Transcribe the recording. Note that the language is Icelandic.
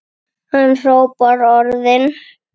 Hann hrópar orðin.